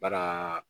Bana